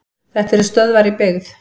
Þetta eru stöðvar í byggð.